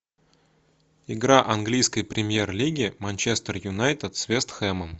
игра английской премьер лиги манчестер юнайтед с вест хэмом